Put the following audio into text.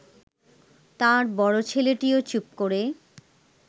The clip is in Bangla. তাঁর বড় ছেলেটিও চুপ করে